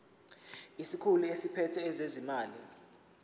isikhulu esiphethe ezezimali